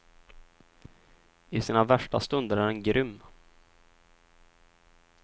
I sina värsta stunder är den grym.